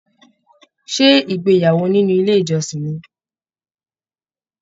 Ṣé ìgbéyàwó nínú ilé ìjọsìn ní?